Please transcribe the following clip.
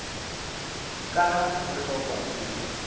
ka ha ho hlokwa ke